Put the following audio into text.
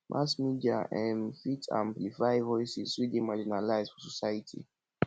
mass media um fit amplify voices wey dey marginalized for society